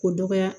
K'o dɔgɔya